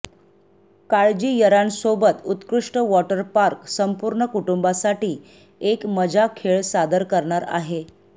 काळजी यंरर्ा सोबत उत्कृष्ट वॉटर पार्क संपूर्ण कुटुंबासाठी एक मजा खेळ सादर करणार आहे